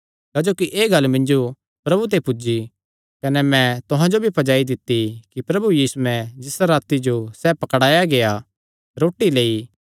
क्जोकि एह़ गल्ल मिन्जो प्रभु ते पुज्जी कने मैं तुहां जो भी पज्जाई दित्ती कि प्रभु यीशुयैं जिसा राती सैह़ पकड़ुआ गेआ रोटी लेई